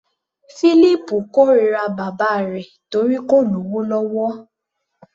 Fílípù kórira bàbá rẹ̀ torí kò lówó lọ́wọ́.